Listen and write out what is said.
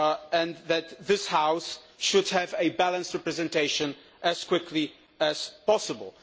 and that this House should have a balanced representation as quickly as possible.